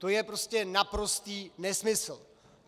To je prostě naprostý nesmysl.